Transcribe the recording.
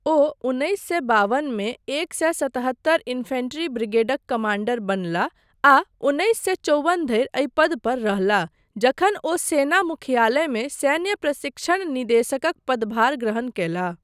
ओ उन्नैस सए बावनमे एक सए सत्तहत्तर इन्फैंट्री ब्रिगेडक कमाण्डर बनलाह आ उन्नैस सए चौबन धरि एहि पद पर रहलाह जखन ओ सेना मुख्यालयमे सैन्य प्रशिक्षण निदेशकक पदभार ग्रहण कयलाह।